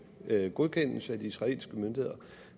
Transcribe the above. godkendes af de israelske myndigheder